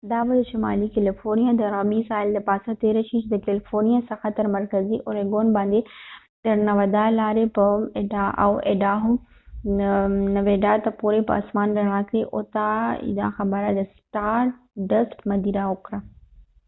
دا به د شمالی کلیفورنیا د غربی ساحل د پا سه تیره شي چې دکلیفورنیا څخه تر مرکزی اوریګون باندي تر نوادا nevada او ایډاهو idaho د لارې به یوټا utah ته پورې به اسمان رڼا کړي دا خبره د سټار ډست مدیر وکړه